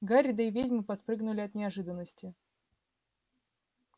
гарри да и ведьма подпрыгнули от неожиданности